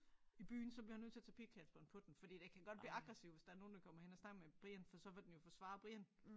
I byen så bliver han nødt til at tage pighalsbånd på den fordi den kan godt blive aggressiv hvis der nogen der kommer hen og snakker med Brian for så vil den jo forsvare Brian